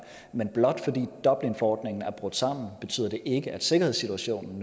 men blot fordi dublinforordningen er brudt sammen betyder det ikke nødvendigvis at sikkerhedssituationen